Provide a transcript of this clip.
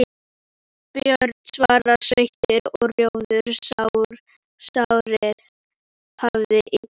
Björn var sveittur og rjóður, sárið hafðist illa við.